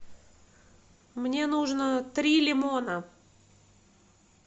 мне нужно три лимона